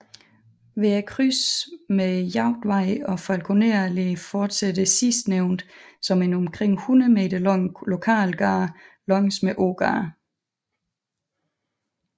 Ved krydset med Jagtvej og Falkoner Allé fortsætter sidstnævnte som en omkring hundrede meter lang lokalgade langs med Ågade